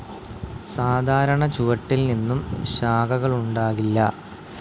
സാധാരണ ചുവട്ടിൽ നിന്നും ശാഖകളുണ്ടാകില്ല.